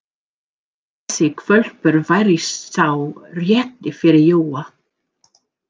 Þessi hvolpur væri sá rétti fyrir Jóa.